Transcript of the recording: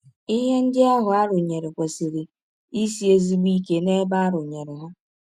Ihe ndị ahụ a rụnyere kwesịrị isi ezigbo ike n’ebe a rụnyere ha.